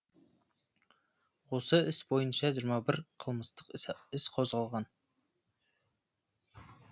осы іс бойынша жиырма бір қылмыстық іс қозғалған